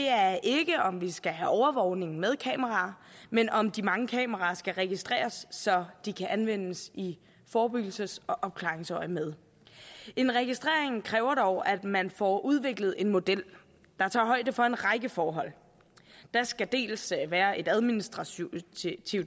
er ikke om vi skal have overvågning med kameraer men om de mange kameraer skal registreres så de kan anvendes i forebyggelses og opklaringsøjemed en registrering kræver dog at man får udviklet en model der tager højde for en række forhold der skal dels være et administrativt